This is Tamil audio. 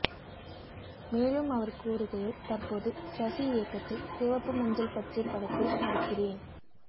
மேலும் அவர் கூறுகையில் தற்போது சசி இயக்கத்தில் சிவப்பு மஞ்சல் பச்சை படத்தில் நடிக்கிறேன்